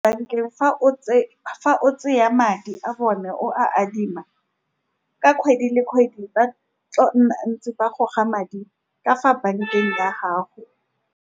Bankeng, fa o , fa o tšea madi a bone, o a adima, ka kgwedi le kgwedi, ba tla nna ntse ba goga madi ka fa bankeng ya gago.